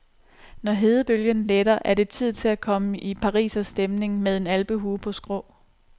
Når hedebølgen letter, er det tid til at komme i pariserstemning med en alpehue på skrå.